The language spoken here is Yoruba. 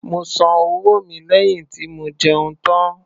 Mo san owó mi lẹ́yìn tí mo jẹun tán